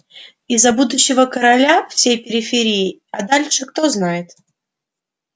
и за будущего короля всей периферии а дальше кто знает